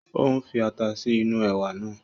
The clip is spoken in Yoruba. Ó ń fi ata sí inú ẹ̀wà náà